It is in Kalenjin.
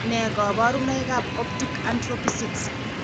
Nee kabarunoikab Optic atrophy 6?